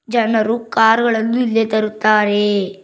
ಜನರು ಕಾರ್ ಗಳನ್ನು ಇಲ್ಲೇ ತರುತ್ತಾರೆ.